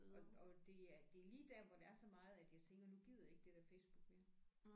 Og og det er det er lige der hvor der er så meget at jeg tænker nu gider jeg ikke det der Facebook mere